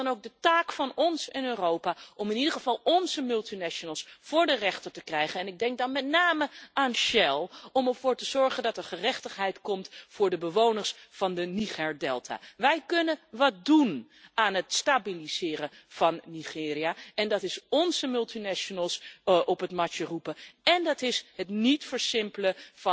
Het is dan ook de taak van ons en Europa om in ieder geval onze multinationals voor de rechter te krijgen ik denk dan met name aan Shell om ervoor te zorgen dat er gerechtigheid komt voor de bewoners van de Nigerdelta. Wij kunnen wat doen aan het stabiliseren van Nigeria, namelijk onze multinationals op het matje roepen en conflicten niet versimpelen